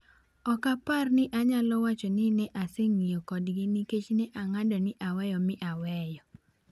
"Ok apar ni anyalo wacho ni ne aseng'iyo kodgi, nikech ne ang'ado ni aweyo mi aweyo ."